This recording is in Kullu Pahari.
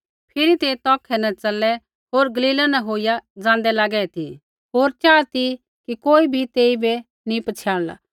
फिरी तै तौखै न च़लै होर गलीला न होईया ज़ाँदै लागे ती होर चाहा ती कि कोई भी तेइबै नी पछ़ियाणला